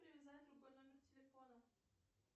привязать другой номер телефона